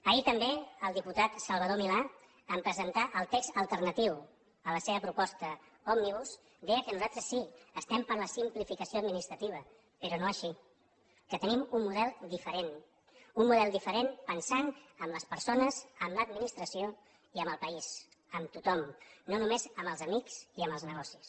ahir també el diputat salvador milà en presentar el text alternatiu a la seva proposta òmnibus deia que nosaltres sí que estem per la simplificació administrativa però no així que tenim un model diferent un model diferent pensant en les persones en l’administració i en el país en tothom no només en els amics i en els negocis